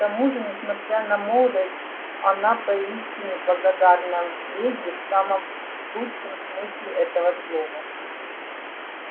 к тому же несмотря на молодость она поистине благодарная леди в самом лучшем смысле этого слова